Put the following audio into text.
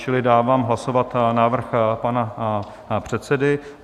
Čili dávám hlasovat návrh pana předsedy.